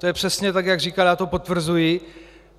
To je přesně tak, jak říkal, já to potvrzuji.